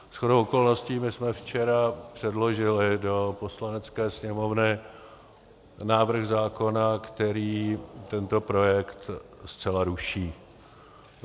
Shodou okolností my jsme včera předložili do Poslanecké sněmovny návrh zákona, který tento projekt zcela ruší.